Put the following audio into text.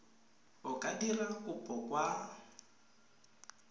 o ka dira kopo kwa